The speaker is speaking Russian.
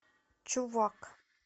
чувак